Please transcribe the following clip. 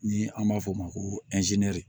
Ni an b'a f'o ma ko